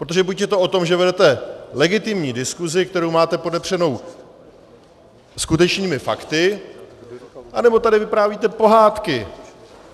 Protože buď je to o tom, že vedete legitimní diskuzi, kterou máte podepřenou skutečným fakty, anebo tady vyprávíte pohádky.